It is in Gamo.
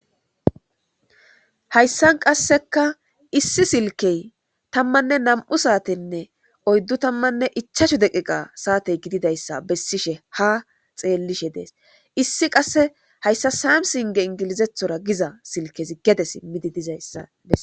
Hayisan qaseka issi silike tamanne nam'u satenne oyidu tamanne ichachu deqiqa sate gidiayisa besishe ha xekishe des issi qase hayisa samisinge engilzetora giza silikezi gede simidi dizayisa beses.